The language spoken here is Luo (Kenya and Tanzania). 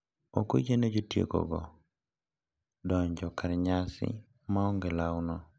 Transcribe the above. Ok oyiene jotieko go eko donjo kar nyasi maonge lawno.